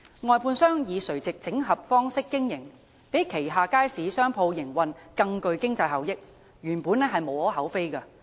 外判商以垂直整合方式經營，讓旗下街市商鋪營運更具經濟效益，原本無可厚非。